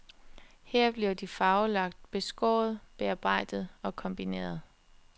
Her bliver de farvelagt, beskåret, bearbejdet og kombineret.